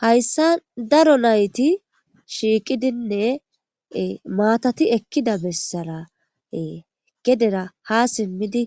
hayssa daro nayti shiiqidinne maatati ekkida bessarae gedera ha simmidi